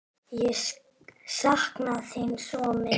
Ég sakna þín svo mikið!